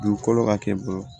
Dugukolo ka kɛ bolo ye